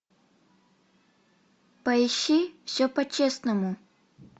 поищи все по честному